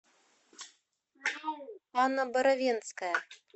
анна боровенская